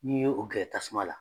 N'i ye o gɛrɛ tasuma la.